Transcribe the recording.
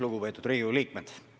Lugupeetud Riigikogu liikmed!